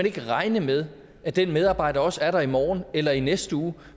ikke regne med at den medarbejder også er der i morgen eller i næste uge